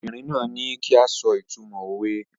The woman asked us to say the meaning of the proverb